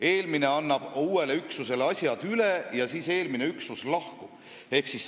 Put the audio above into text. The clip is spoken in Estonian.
Eelmine üksus annab uuele üksusele asjad üle ja lahkub siis.